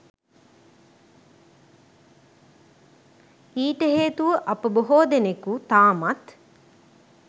ඊට හේතුව අප බොහෝ දෙනෙකු තාමත්